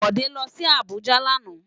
Bode lò si Abuja làná